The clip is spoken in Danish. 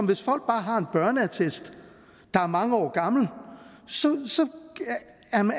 hvis folk bare har en børneattest der er mange år gammel så